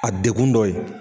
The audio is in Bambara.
A degkun dɔ ye.